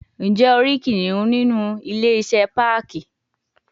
Njẹ o ri kiniun ninu ile-iṣẹ parki